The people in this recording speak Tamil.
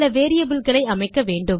சில வேரியபிள் களை அமைக்க வேண்டும்